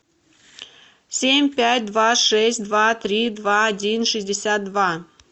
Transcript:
семь пять два шесть два три два один шестьдесят два